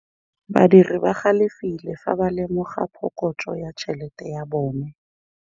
Badiri ba galefile fa ba lemoga phokotsô ya tšhelête ya bone.